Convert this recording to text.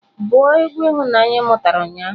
Bụ egwu ihunanya ị mụtara ụnyaahụ!